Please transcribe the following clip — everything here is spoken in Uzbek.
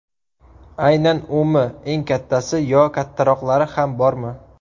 Aynan umi eng kattasi yo kattaroqlari ham bormi?